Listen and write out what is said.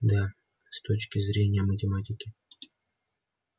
да с точки зрения математики